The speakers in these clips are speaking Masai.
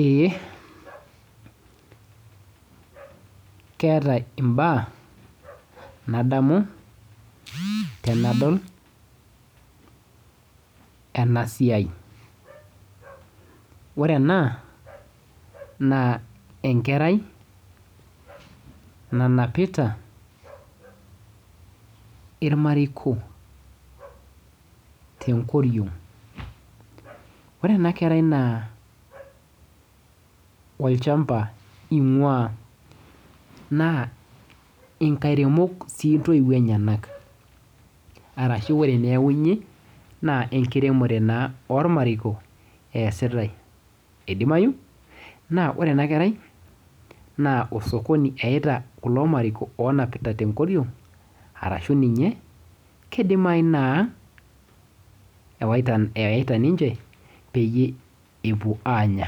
Eee, keetae Imbaak nadamu tenadol ena siai. Ore ena naa enkerai nanapita irmariko tenkoriong'. Ore ena kerai naa olchamba ing'waa. Naa inkairemok sii intoiwuo enyenak. Arashu ore ewuei neyaunye naa enkiremore naa ormariko eesitae. Idimayu naa ore ena kerai naa osokoni eyaita kulo mariko oonapita tenkoriong', arashu ninye kidimayu naa ewaita, eyaita ninche peyie epwo aanya.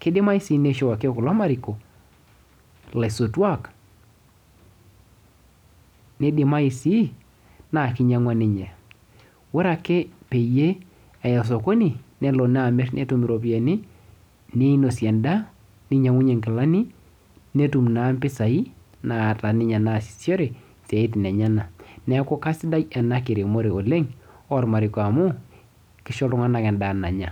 Kidimayu sii nishooki kulo mariko ilaisotwak nidimayu sii naa kinyang'wa ninye. Ore ake peyie eya osokoni nelo amirr netum iropiyiani ninosie endaa, ninyang'unye inkilani, netum naa mpisai naata ninye naasishore isiatin enyenak. Neeku kaisidai ena kiremore oleng ormariko amu kisho iltung'anak endaa nanya